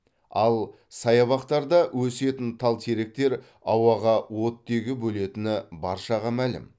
ал саябақтарда өсетін тал теректер ауаға оттегі бөлетіні баршаған мәлім